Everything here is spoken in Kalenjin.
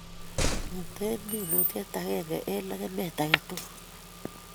Mete minutiet agenge eng legemet age tugul